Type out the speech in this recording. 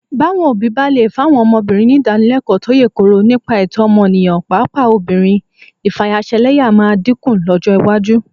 Báwọn òbí bá lè fáwọn ọmọbìnrin nídànílẹlẹ́kọ̀ọ́ tó yè kooro nípa ẹ̀tọ́ ọmọnìyàn, pàápàá ọmọbìnrin, ìfayaṣẹlẹ́yà máa dínkù lọ́jọ́ iwájú